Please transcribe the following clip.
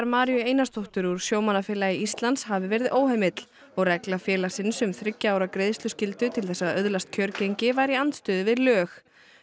Maríu Einarsdóttur úr Sjómannafélagi Íslands hafi verið óheimill og regla félagsins um þriggja ára greiðsluskyldu til þess að öðlast kjörgengi væri í andstöðu við lög